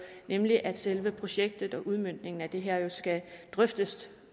nemlig at selve projektet og udmøntningen af det her jo skal drøftes